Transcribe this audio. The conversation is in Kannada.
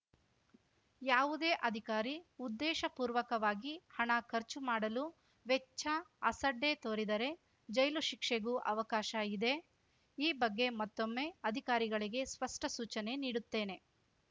ಯಾವುದೇ ಅಧಿಕಾರಿ ಉದ್ದೇಶಪೂರ್ವಕವಾಗಿ ಹಣ ಖರ್ಚು ಮಾಡಲು ವೆಚ್ಚ ಅಸಡ್ಡೆ ತೋರಿದರೆ ಜೈಲು ಶಿಕ್ಷೆಗೂ ಅವಕಾಶ ಇದೆ ಈ ಬಗ್ಗೆ ಮತ್ತೊಮ್ಮೆ ಅಧಿಕಾರಿಗಳಿಗೆ ಸ್ಪಷ್ಟಸೂಚನೆ ನೀಡುತ್ತೇನೆ